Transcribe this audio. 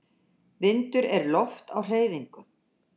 Vindur er loft á hreyfingu.